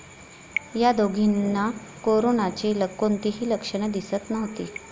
या दोघींना कोरनाची कोणतीही लक्षणे दिसत नव्हती.